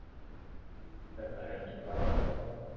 Þetta heldur bara áfram.